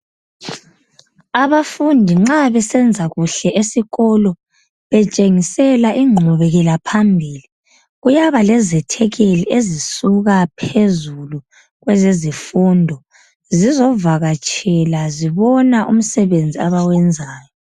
Abafundi nxa besenza kuhle esikolo betshengisela inqubekelaphambili kuyaba lezethekeli ezisuka phezulu kwezezifundo zizovakatshela zibona umsebenzi abawenzayo.